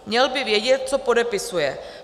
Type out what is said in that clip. Měl by vědět, co podepisuje.